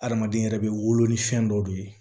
Adamaden yɛrɛ bɛ wolo ni fɛn dɔ de ye